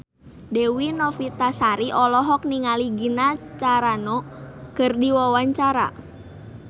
Dewi Novitasari olohok ningali Gina Carano keur diwawancara